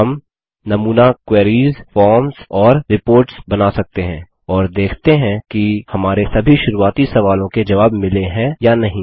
हम नमूना queries forms और रिपोर्ट्स बना सकते हैं और देखते हैं कि हमारे सभी शुरुआती सवालों के जवाब मिले हैं या नहीं